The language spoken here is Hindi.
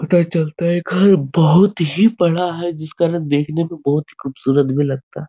पता चलता है घर यह बोहोत ही बड़ा है जिसका न देखने में बोहोत ही खूबसूरत लगता है।